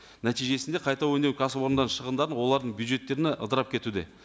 нәтижесінде қайта өңдеу кәсіпорындарының шығындарын олардың бюджеттеріне ыдырап кетуде